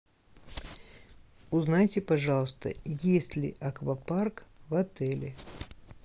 узнайте пожалуйста есть ли аквапарк в отеле